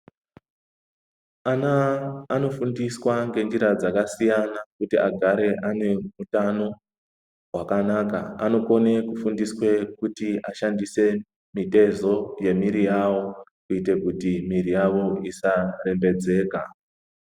Ana anofundiswa ngenjira dzakasiyana kuti agare anehutano hwakanaka. Anokone kufundiswe kuti ashandise mitezo nemwiri yawo kuite kuti mwiri yawo isarembedzeka.